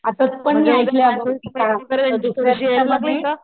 आता पण मी ऐकलंय असं कि.